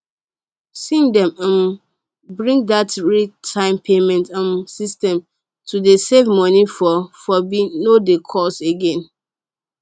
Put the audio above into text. sine dem um bring dat real time payment um system to dey send money for fobe no dey cost again